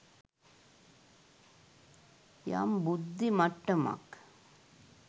යම් බුද්ධි මට්ටමක්